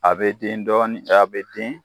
A bɛ den dɔɔnin a bɛ den